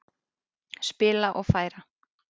Spila og færa.